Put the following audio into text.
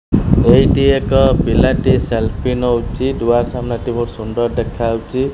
ଏଇଟି ଏକ ପିଲାଟି ସେଲ୍ଫି ନଉଚି ଦୁଆର ସାମ୍ନାଟି ବହୁତ ସୁନ୍ଦର ଦେଖାଯାଉଚି।